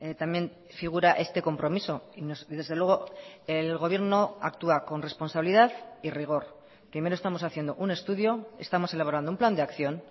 también figura este compromiso y desde luego el gobierno actúa con responsabilidad y rigor primero estamos haciendo un estudio estamos elaborando un plan de acción